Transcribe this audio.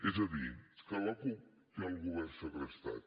és a dir que la cup té el govern segrestat